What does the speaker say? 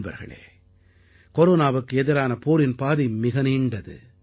நண்பர்களே கொரோனாவுக்கு எதிரான போரின் பாதை மிக நீண்டது